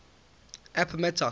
appomattox